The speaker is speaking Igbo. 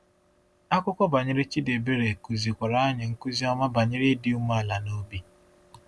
Akụkọ banyere Chidiebere kụzikwara anyị nkuzi ọma banyere ịdị umeala n’obi.